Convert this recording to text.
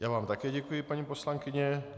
Já vám také děkuji, paní poslankyně.